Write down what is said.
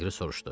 Leqri soruşdu.